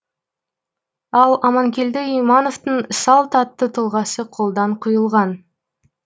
ал аманкелді имановтың салт атты тұлғасы қолдан құйылған